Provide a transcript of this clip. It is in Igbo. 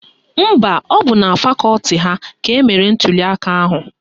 Mba, ọ bụ na fakọti ha ka emere ntuliaka ahụ